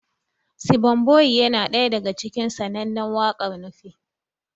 Sibon boyiye na ɗaya daga cikin sananne wakar Nufe